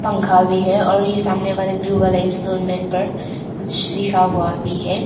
पंखा भी है और यह सामने वाले ब्लू वाले इंस्ट्रूमेंट पर कुछ लिखा हुआ भी है।